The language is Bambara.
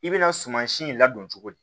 I bɛna sumasi in ladon cogo di